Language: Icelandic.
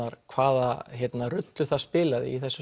hvaða rullu það spilaði í þessu